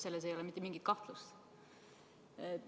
Selles ei ole mitte mingit kahtlust.